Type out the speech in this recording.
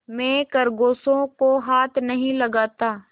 मैं खरगोशों को हाथ नहीं लगाता